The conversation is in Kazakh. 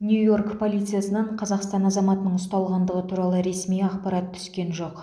нью йорк полициясынан қазақстан азаматының ұсталғандығы туралы ресми ақпарат түскен жоқ